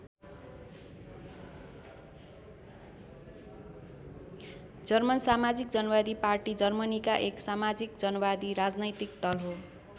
German समाजिक जनवादी party जर्मनीका एउटा समाजिक जनवादी राजनैतिक दल हो।